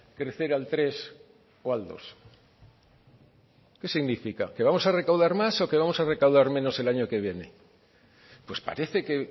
crecer al tres o al dos qué significa que vamos a recaudar más o que vamos a recaudar menos el año que viene pues parece que